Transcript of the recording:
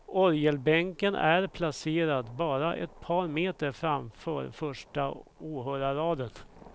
Orgelbänken är placerad bara ett par meter framför första åhörarraden.